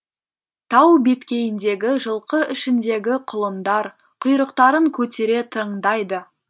тау беткейіндегі жылқы ішіндегі құлындар құйрықтарын көтере тыңдайды